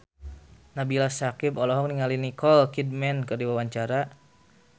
Nabila Syakieb olohok ningali Nicole Kidman keur diwawancara